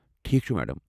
ٹھیٖکھ چھُ میڈم۔